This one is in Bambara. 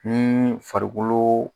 farikolo